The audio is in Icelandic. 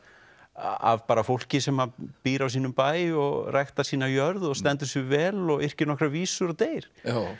af bara fólki sem býr á sínum bæ og ræktar sína jörð og stendur sig vel og yrkir nokkrar vísur og deyr